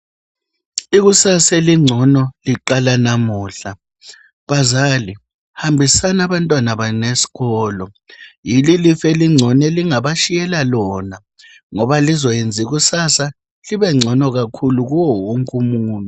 Ikusasa elingcono liqala namuhla. Bazali hambisani abantwana benu esikolo, yilo ilifa elingcono elingabatshiyela lona, ngoba lizayenza ikusasa libengcono kakhulu kuyewonkumuntu.